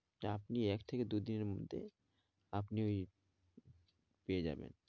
আপনি এক থেকে দু দিনের মধ্যে আপনি ওই পেয়ে যাবেন